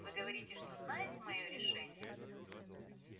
вы говорите что знаете моё решение